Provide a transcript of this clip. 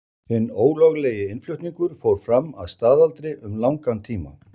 Hinn ólöglegi innflutningur fór fram að staðaldri um langan tíma.